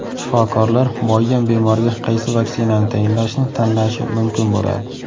Shifokorlar muayyan bemorga qaysi vaksinani tayinlashni tanlashi mumkin bo‘ladi.